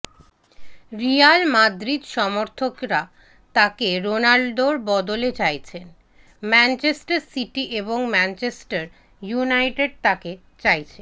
Real Madrid সমর্থকরা তাকে রোনাল্দোর বদলে চাইছেন ম্যাঞ্চেস্টার সিটি এবং ম্যাঞ্চেস্টার ইউনাইটেড তাকে চাইছে